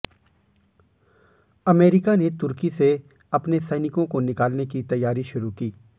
America ने तुर्की से अपने सैनिकों को निकालने की तैयारी शुरू की